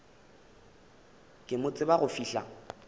ke mo tsebe go fihla